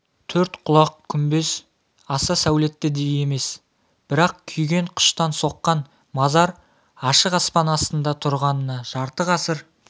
төрт құлақ күмбез аса сәулетті де емес бірақ күйген қыштан соққан мазар ашық аспан астында тұрғанына жарты ғасыр